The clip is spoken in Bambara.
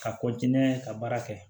Ka n'a ye ka baara kɛ